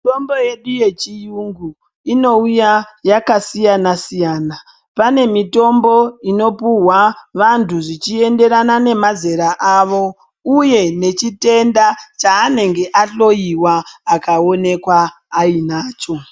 Mitombo yedu yechiyungu inouya yakasiyana-siyana. Pane mitombo inopuhwa vantu zvichienderana nemazera avo uye nechitenda chanenge ahloyewa akaonekwa anacho.